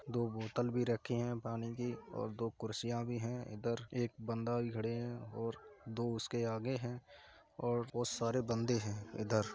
दो बोतल भी रखे हैं पानी की और दो कुर्सियां भी हैं। इधर एक बंदा भी खड़े हैं और दो उसके आगे हैं और बहोत सारे बंदे हैं इधर --